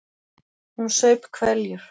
Hún saup hveljur.